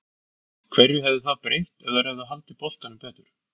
Hverju hefði það breytt ef þær hefðu haldið boltanum betur?